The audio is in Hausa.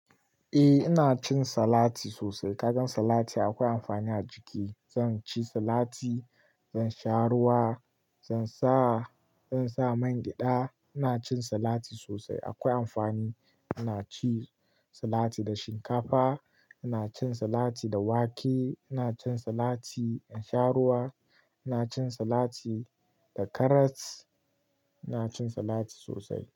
Eh ina cin salati sosai. Kagan salati akwai amfani a jiki. Zan ci salati, zan sha ruwa, zan sa, zan sa man gyada. Ina cin salati sosai akwai amfani. Ina cin salati da shinkafa, ina cin salati da wake, ina cin salati in sha ruwa, ina cin salati da karas, ina cin salati sosai.